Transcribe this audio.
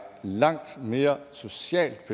langt mere socialt